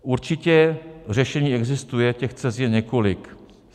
Určitě řešení existuje, těch cest je několik.